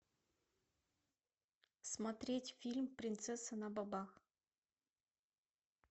смотреть фильм принцесса на бобах